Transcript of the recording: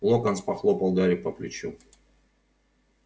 локонс похлопал гарри по плечу